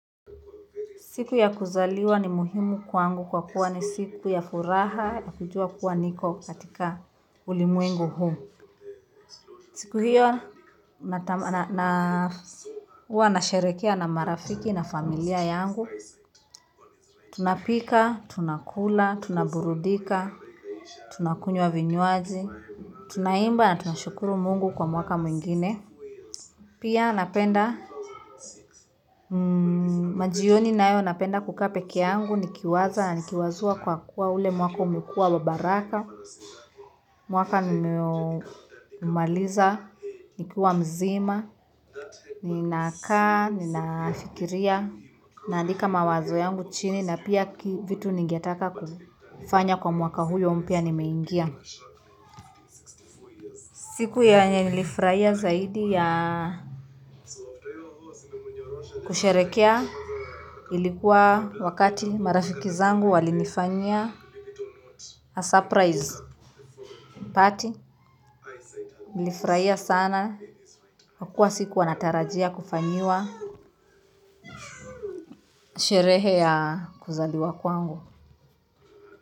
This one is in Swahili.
Siku ya kuzaliwa ni muhimu kwangu kwa kuwa ni siku ya furaha ya kujua kuwa niko katika ulimwengu huu. Siku hiyo naa huwa nasherehekea na marafiki na familia yangu tunapika tunakula tunaburudika tunakunywa vinywaji tunaimba na tunashukuru Mungu kwa mwaka mwingine. Pia napenda, majioni nayo napenda kukaa pekee yangu, nikiwaza na nikiwazua kwa kuwa ule mwaka umekua wa baraka, mwaka umaliza, nikuwa mzima, ninakaa, ninafikiria, naandika mawazo yangu chini na pia vitu ningetaka kufanya kwa mwaka huyo mpya nimeingia. Siku yenye nilifurahia zaidi ya kusherekea ilikuwa wakati marafiki zangu walinifanyia a surprise. Pati nilifurahia sana kwa kua sikuwa natarajia kufanyia sherehe ya kuzaliwa kwangu.